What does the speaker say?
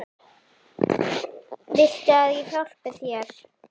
Viltu að ég hjálpi þér?